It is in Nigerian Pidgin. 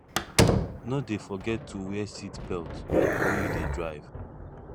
no dey forget to wear seat belt wen you dey drive